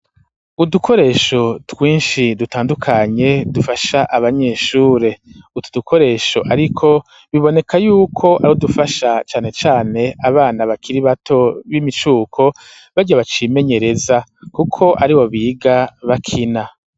Udukoresho twinshi dutandukanye dufasha abanyeshure, utu dukoresho ariko, biboneka y'uko ari udugufasha cane cane abana bakiri bato b'imicuko, barya bacimenyereza kuko aribo biga bakina.